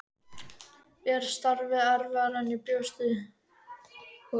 Er starfið erfiðara en ég bjóst við?